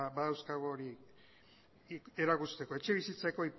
badauzkagu erakusteko etxebizitzako